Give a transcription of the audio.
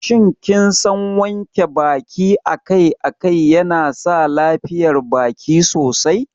Shin kinsan wanke baki akai-akai yana sa lafiyar baki sosai?